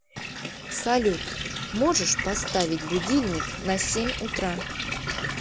салют можешь поставить будильник на семь утра